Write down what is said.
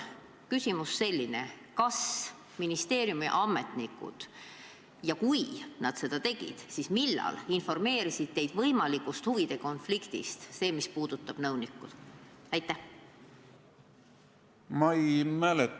Küsimus on selline: kas ministeerimi ametnikud informeerisid teid võimalikust huvide konfliktist, mis puudutas nõunikku, ja kui nad seda tegid, siis millal?